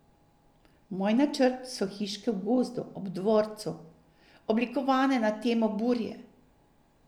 Moj načrt so hiške v gozdu ob dvorcu, oblikovane na temo burje.